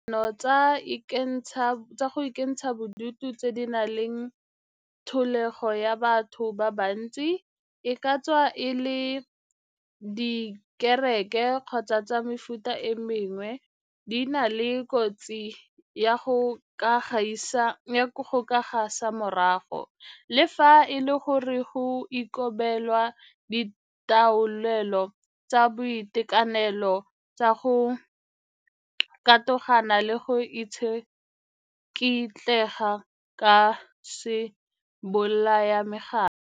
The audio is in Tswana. Dikopano tsa go ikentsha bodutu tse di nang le thologelo ya batho ba bantsi, e ka tswa e le tsa dikereke kgotsa tsa mefuta e mengwe, di na le kotsi ya go ka gasa mogare, le fa e le gore go ikobelwa ditaolelo tsa boitekanelo tsa go katogana le go itsikitletsa ka sebolayamegare.